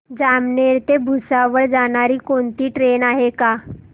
जामनेर ते भुसावळ जाणारी कोणती ट्रेन आहे का